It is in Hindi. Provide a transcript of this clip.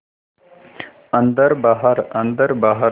अन्दर बाहर अन्दर बाहर